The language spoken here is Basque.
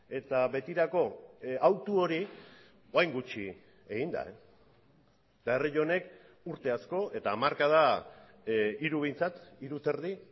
eta betirako hautu hori orain gutxi egin da eta herri honek urte asko eta hamarkada hiru behintzat hiru eta erdi